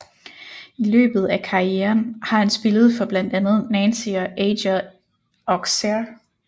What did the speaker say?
I løbet af karrieren har han spillet for blandt andet Nancy og AJ Auxerre